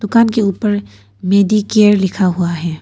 दुकान के ऊपर मेडिकेयर लिखा हुआ है।